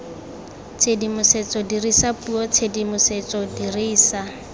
tshedimosetso dirisa puo tshedimosetso dirisa